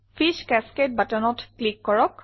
fees cascade buttonত click কৰক